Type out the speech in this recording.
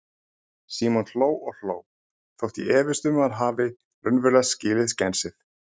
Símon hló og hló, þótt ég efist um að hann hafi raunverulega skilið skensið.